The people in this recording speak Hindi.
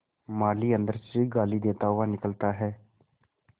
माली अंदर से गाली देता हुआ निकलता है